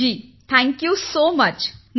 विशाखा जीः जी धन्यवाद